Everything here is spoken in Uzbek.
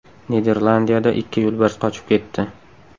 Niderlandiyada ikki yo‘lbars qochib ketdi.